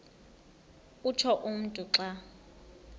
utsho umntu xa